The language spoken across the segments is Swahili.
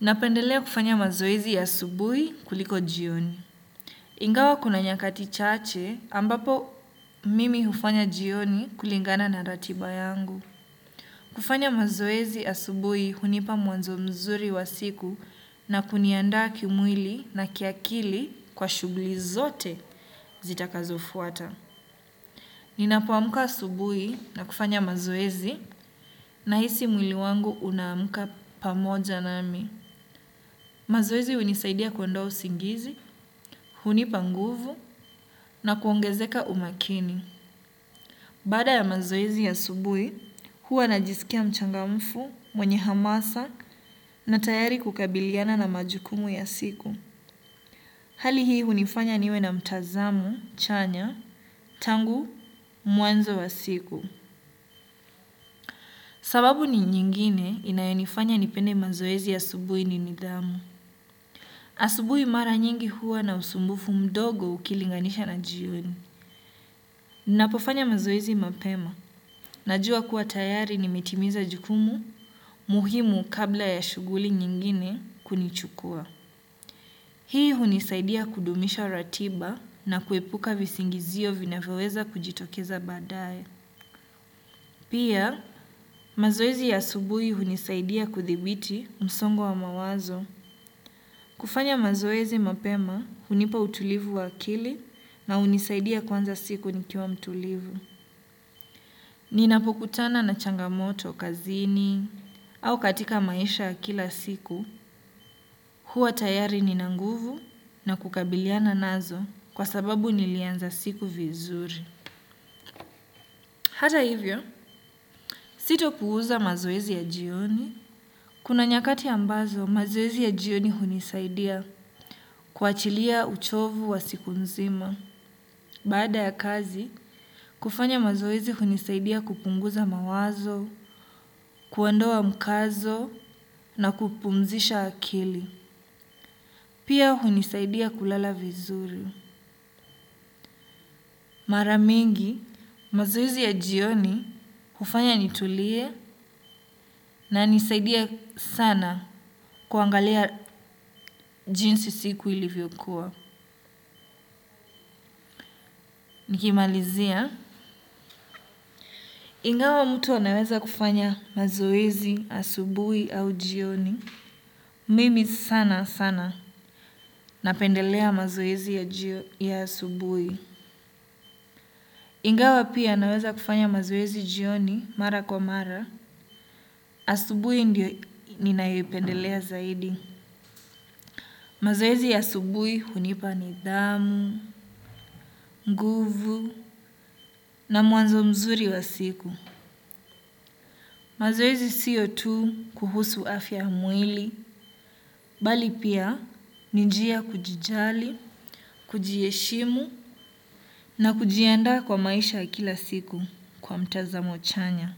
Napendelea kufanya mazoezi ya asubui kuliko jioni. Ingawa kuna nyakati chache ambapo mimi hufanya jioni kulingana na ratiba yangu. Kufanya mazoezi ya asubui hunipa mwanzo mzuri wa siku na kunianda kimwili na kiakili kwa shugli zote zitakazofuata. Ninapoamka asubui na kufanya mazoezi na hisi mwili wangu unamka pamoja nami. Mazoezi hunisaidia kuondoa usingizi, hunipa nguvu na kuongezeka umakini. Baada ya mazoezi ya asubui, huwa najisikia mchangamfu, mwenye hamasa na tayari kukabiliana na majukumu ya siku. Hali hii hunifanya niwe na mtazamo, chanya, tangu, mwanzo wa siku. Sababu ni nyingine inayonifanya nipende mazoezi ya asubui ni nidhamu. Asubui mara nyingi huwa na usumbufu mdogo ukilinganisha na jioni. Napofanya mazoezi mapema. Najua kuwa tayari nimetimiza jukumu muhimu kabla ya shuguli nyingine kunichukua. Hii hunisaidia kudumisha ratiba na kuepuka visingizio vinaweweza kujitokeza badaye. Pia mazoezi ya asubui hunisaidia kuthibiti msongo wa mawazo. Kufanya mazoezi mapema, hunipa utulivu wa akili na hunisaidia kuanza siku nikiwa mtulivu. Ninapokutana na changamoto kazini, au katika maisha ya kila siku, huwa tayari nina nguvu na kukabiliana nazo kwa sababu nilianza siku vizuri. Hata hivyo, sito puuza mazoezi ya jioni. Kuna nyakati ambazo, mazoezi ya jioni hunisaidia kwachilia uchovu wa siku nzima. Baada ya kazi, kufanya mazoezi hunisaidia kupunguza mawazo, kuondoa mkazo na kupumzisha akili. Pia hunisaidia kulala vizuri. Maramingi, mazoezi ya jioni hufanya nitulie na nisaidia sana kuangalia jinsi siku ilivyokuwa. Nikimalizia, ingawa mtu anaweza kufanya mazoezi, asubui au jioni. Mimi sana sana napendelea mazoezi ya asubui. Ingawa pia naweza kufanya mazoezi jioni mara kwa mara, asubui ndio ninayoipendelea zaidi. Mazoezi ya asubui hunipa nidhamu, nguvu na mwanzo mzuri wa siku. Mazoezi siyo tu kuhusu afya mwili, bali pia ni njia ya kujijali, kujiheshimu na kujianda kwa maisha ya kila siku kwa mtazamo chanya.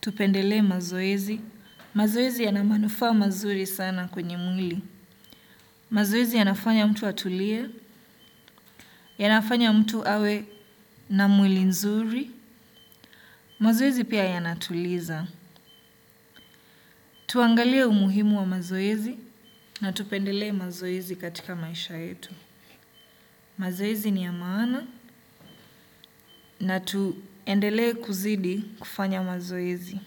Tupendele mazoezi. Mazoezi yana manufa mazuri sana kwenye mwili. Mazoezi yanafanya mtu atulia, yanafanya mtu awe na mwili nzuri. Mazwezi pia yanatuliza. Tuangalie umuhimu wa mazoezi na tupendele mazoezi katika maisha yetu. Mazoezi ni ya maana na tuendele kuzidi kufanya mazoezi.